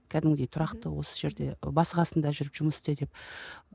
кәдімгідей тұрақты осы жерде басы қасында жүріп жұмыс істе деп